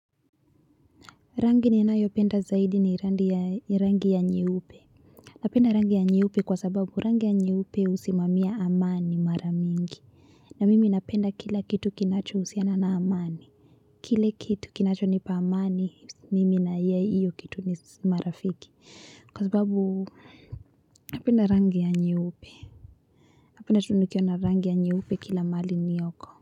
Rangi ninayopenda zaidi ni rangi ya nyeupe. Napenda rangi ya nyeupe kwa sababu rangi ya nyeupe husimamia amani mara nyingi na mimi napenda kila kitu kinachohusiana na amani kile kitu kinachonipa amani mimi na hiyo kitu ni marafiki kwa sababu napenda rangi ya nyeupe. Napenda tu nikiona rangi ya nyeupe kila mahali nilioko.